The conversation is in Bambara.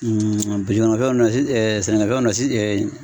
fɛnw sɛnɛkɛfɛnw